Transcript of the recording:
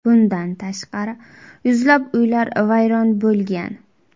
Bundan tashqari, yuzlab uylar vayron bo‘lgan.